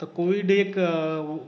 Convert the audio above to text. तर कोविड एक